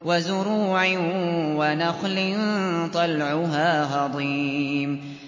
وَزُرُوعٍ وَنَخْلٍ طَلْعُهَا هَضِيمٌ